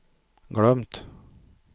glömt